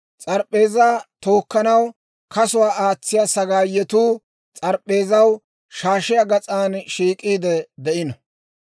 S'arip'p'eezaa tookkanaw kasuwaa aatsiyaa sagaayetuu s'arip'p'eezaw shaashiyaa gas'aan shiik'iide de'ino.